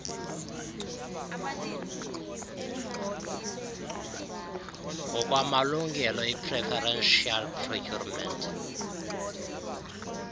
ngokwamalungelo ipreferential procurement